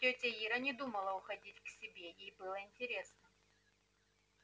тётя ира не думала уходить к себе ей было интересно